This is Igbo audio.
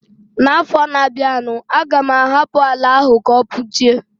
N'afọ na bia nu, a ga m ahapụ àlà áhù ka o puchie